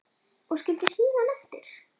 Og skildi símann eftir?